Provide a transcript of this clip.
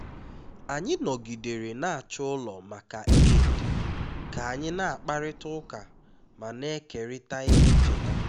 anyị nọgidere na-achọ ụlọ maka eid ka anyị na-akparịta ụka ma na-ekerịta ihe ncheta